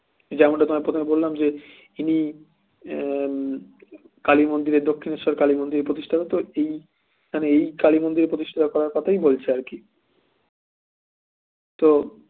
যেমনটা তোমায় প্রথমে বললাম যে তিনি উম কালী মন্দিরে দক্ষিণেশ্বর কালী মন্দিরের প্রতিষ্ঠাতা তো এইখানে এই কালী মন্দিরের প্রতিষ্ঠাতা করার কথাই বলছেন আর কি তো